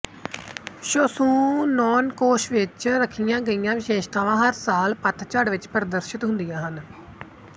ਸ਼ੋਸੂਨੋਨ ਕੋਸ਼ ਵਿੱਚ ਰੱਖੀਆਂ ਗਈਆਂ ਵਿਸ਼ੇਸ਼ਤਾਵਾਂ ਹਰ ਸਾਲ ਪਤਝੜ ਵਿੱਚ ਪ੍ਰਦਰਸ਼ਿਤ ਹੁੰਦੀਆਂ ਹਨ